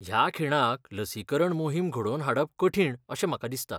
ह्या खिणाक लसीकरण मोहीम घडोवन हाडप कठीण अशें म्हाका दिसता.